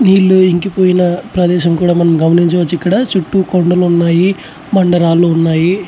నీళ్లు ఇంకిపోయిన ప్రేదేశం కూడా గమనించవచ్చు.ఇక్కడ చుట్టూ కొండలున్నాయి. బాండరాళ్ళూ ఉన్నాయ్.